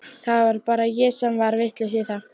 Það var bara ég sem var vitlaus í það.